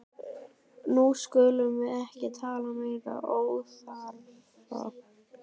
Nú skulum við ekki tala meiri óþarfa!